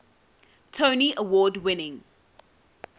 tony award winning